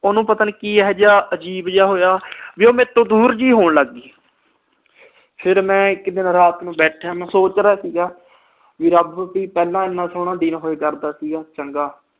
ਉਹਨੂੰ ਪਤਾ ਨੀ ਕੀ ਇਹਾ ਜਾ ਅਜੀਬ ਜਾ ਹੋਇਆ ਵੀ ਉਹ ਮੇਰੇ ਤੋਂ ਦੂਰ ਜੀ ਹੋਣ ਲੱਗ ਪਈ। ਫਿਰ ਮੈਂ ਇੱਕ ਦਿਨ ਰਾਤ ਨੂੰ ਬੈਠਿਆ, ਮੈਂ ਸੋਚ ਰਿਹਾ ਸੀਗਾ, ਵੀ ਰੱਬ ਪਹਿਲਾ ਇੰਨਾ ਸੋਹਣਾ ਦਿਨ ਹੋਇਆ ਕਰਦਾ ਸੀਗਾ ਚੰਗਾ।